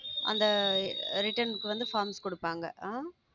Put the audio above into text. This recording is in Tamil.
அந்த return க்கு வந்து forms கொடுப்பாங்க அஹ்